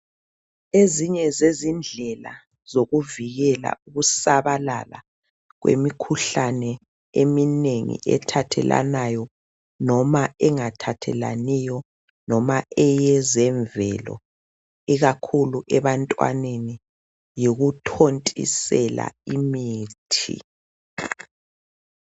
Ezinye zezindlela zokuvikela ukusabalala kwemikhuhlane eminengi ethathelanayo noma engathathelaniyo noma eyezemvelo ikakhulu ebantwaneni yikuthontisela imithi.